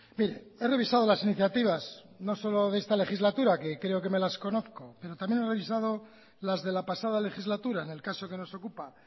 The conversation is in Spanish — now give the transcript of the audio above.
mire he revisado las iniciativas no solo de esta legislatura que creo que me las conozco pero también he revisado las de la pasada legislatura en el caso que nos ocupa